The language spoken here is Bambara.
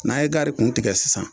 N'a ye gari kuntigɛ sisan